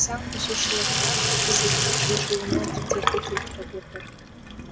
заңбұзушылықтар да кезектің жылжуына кедергі келтіріп отыр